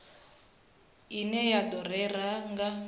ine ya do rera nga